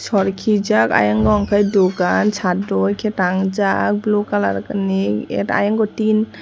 hor kijak ayango hingke dogan sat roike tang jak blue colour ni at ayango tin.